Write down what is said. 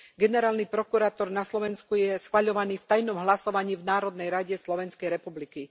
Generálny prokurátor na Slovensku je schvaľovaný v tajnom hlasovaní v Národnej rade Slovenskej republiky.